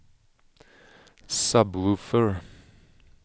sub-woofer